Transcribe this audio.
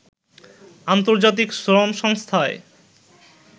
আন্তর্জাতিক শ্রম সংস্থায়